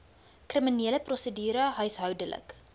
kriminele prosedure huishoudelike